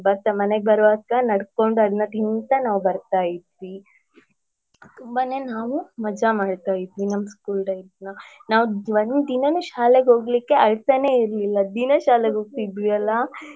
ಬರ್ತಾ ಮನೆಗೆ ಬರುವಾಗ ನಡ್ಕೊಂಡು ಅದ್ನ ತಿನ್ತಾ ನಾವ್ ಬರ್ತಾ ಇದ್ವಿ ತುಂಬಾನೇ ನಾವು ಮಜಾ ಮಾಡ್ತಾ ಇದ್ವಿ ನಮ್ school timeನ ನಾವ್ ಒಂದ್ ದಿನಾನೂ ಶಾಲೆಗೆ ಹೋಗ್ಲಿಕ್ಕೆ ಅಳ್ತಾನೆ ಇರ್ಲಿಲ್ಲ ದಿನಾ ಶಾಲೆಗೆ ಹೋಗ್ತಾ ಇದ್ವಿ ಅಲಾ.